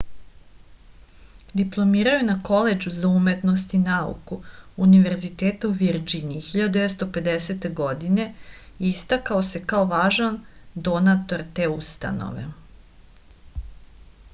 diplomirao je na koledžu za umetnost i nauku univerziteta u virdžiniji 1950. godine i istakao se kao važan donator te ustanove